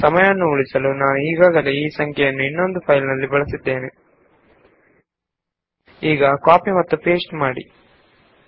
ಸಮಯದ ಅಭಾವದಿಂದಾಗಿ ನಾನು ಈಗಾಗಲೇ ಇನ್ನೊಂದು ಫೈಲ್ ನಲ್ಲಿ ಇರುವ ಸಂಖ್ಯೆಗಳನ್ನು ಕಾಪಿ ಮತ್ತು ಪೇಸ್ಟ್ ಮಾಡುತ್ತೇನೆ